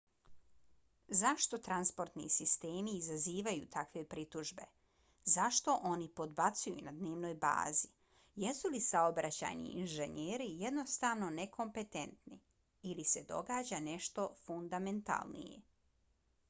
zašto transportni sistemi izazivaju takve pritužbe zašto oni podbacuju na dnevnoj bazi? jesu li saobraćajni inženjeri jednostavno nekompetentni? ili se događa nešto fundamentalnije?